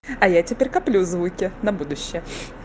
а я теперь коплю звуки на будущее